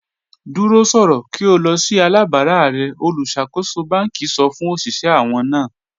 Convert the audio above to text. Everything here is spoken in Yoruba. Dúró sọ̀rọ̀ kí o lọ̀ sí alábàrà rẹ̀ olúṣàkóṣọ̀ bánkì sọ̀ fún oṣiṣẹ̀ àwọn náà.